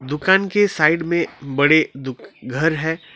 दुकान के साइड में बड़े दो घर है।